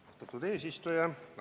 Austatud eesistuja!